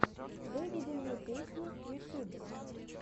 выведи мне песни ютуб